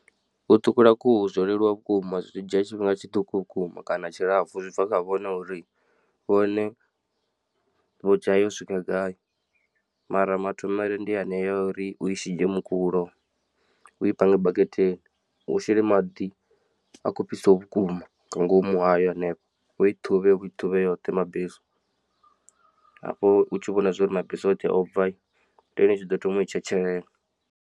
U ṱhukhula khuhu zwo leluwa vhukuma zwi dzhia tshifhinga tshiṱuku vhukuma kana tshilapfu zwi bva kha vhone uri vhone vho dzhaya u swika gai, mara mathomele ndi anea a uri ui shidzhe mukulo u i pange baketeni u shele maḓi a kho fhisaho vhukuma nga ngomu hayo hanefho u i ṱhuvhe u i ṱhuvhe yoṱhe mabesu hafho u tshi vhona zwori mabesu oṱhe o bva ndi hone utshiḓo thoma u i tshetshelela.